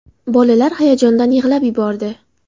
Bolalar hayajondan yig‘lab yubordi.